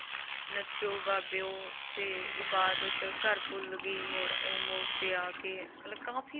ਨੱਚੋ ਬਾਬਿਓ ਤੇ ਇਬਾਦਤ, ਘਰ ਭੁੱਲ ਗਈ, ਮੋੜ ਇਹ ਮੋੜ ਤੇ ਆ ਕੇ ਮਤਲਬ ਕਾਫ਼ੀ